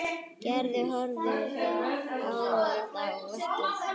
Gerður horfði ánægð á verkið.